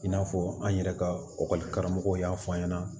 I n'a fɔ an yɛrɛ ka karamɔgɔw y'a fɔ an ɲɛna